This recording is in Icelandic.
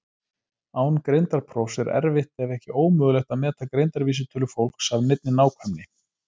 Án greindarprófs er erfitt ef ekki ómögulegt að meta greindarvísitölu fólks af neinni nákvæmni.